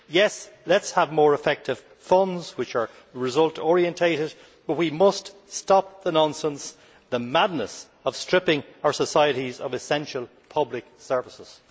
Yes, let us have more effective funds which are result orientated, but we must stop the nonsense, the madness of stripping our societies of essential public services.